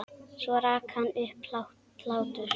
Svo rak hann upp hlátur.